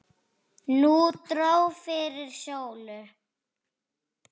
Nú dró fyrir sólu.